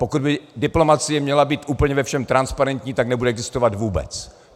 Pokud by diplomacie měla být úplně ve všem transparentní, tak nebude existovat vůbec.